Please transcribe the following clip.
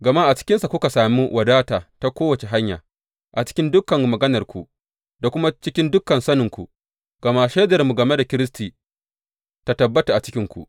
Gama a cikinsa kuka sami wadata ta kowace hanya, a cikin dukan maganarku, da kuma cikin dukan saninku gama shaidarmu game da Kiristi ta tabbata a cikinku.